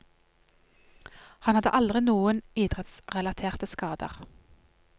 Han hadde aldri noen idrettsrelaterte skader.